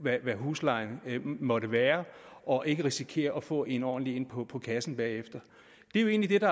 hvad huslejen måtte være og ikke risikerer at få en ordentlig en på på kassen bagefter det er jo egentlig det